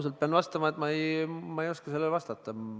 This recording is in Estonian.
Pean ausalt vastama, et ma ei oska sellele vastata.